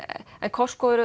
Costco er